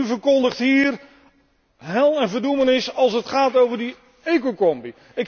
En u verkondigt hier hel en verdoemenis als het gaat over die ecocombi.